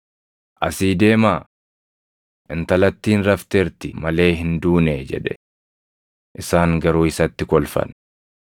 “Asii deemaa! Intalattiin rafteerti malee hin duunee” jedhe. Isaan garuu isatti kolfan.